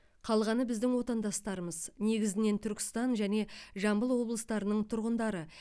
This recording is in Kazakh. қалғаны біздің отандастарымыз негізінен түркістан және жамбыл облыстарының тұрғындары